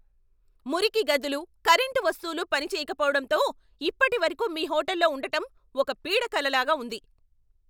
మురికి గదులు, కరెంటు వస్తువులు పనిచేయకపోవడంతో ఇప్పటివరకు మీ హోటల్లో ఉండటం ఒక పీడకలలాగా ఉంది.